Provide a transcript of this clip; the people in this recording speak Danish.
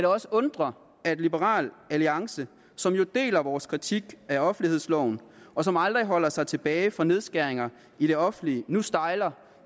også undre at liberal alliance som jo deler vores kritik af offentlighedsloven og som aldrig holder sig tilbage fra nedskæringer i det offentlige nu stejler